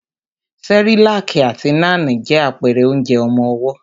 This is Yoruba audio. Cerelac àti Nan je àpẹrẹ onjẹ ọmọwọ́.